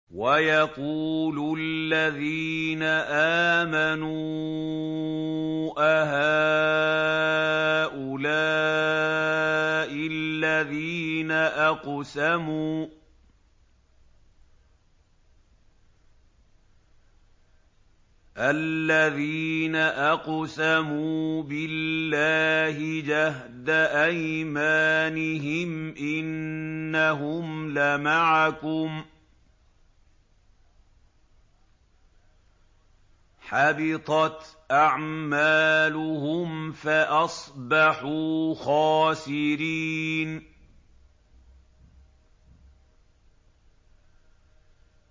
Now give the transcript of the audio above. وَيَقُولُ الَّذِينَ آمَنُوا أَهَٰؤُلَاءِ الَّذِينَ أَقْسَمُوا بِاللَّهِ جَهْدَ أَيْمَانِهِمْ ۙ إِنَّهُمْ لَمَعَكُمْ ۚ حَبِطَتْ أَعْمَالُهُمْ فَأَصْبَحُوا خَاسِرِينَ